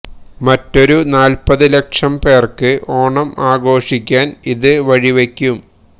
മറ്റൊരു നാല്പ്പതു ലക്ഷം പേര്ക്ക് ഓണം ആഘോഷിക്കാന് ഇതു വഴിവെക്കും